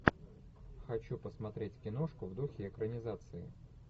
хочу посмотреть киношку в духе экранизации